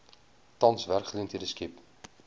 tans werksgeleenthede skep